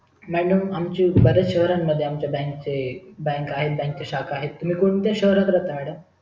madam आमचे बरेच शहरां मध्ये आमचे बँक चे बँक आहे त्याची शाखा आहे तुम्ही कोणत्या शहरात राहता madam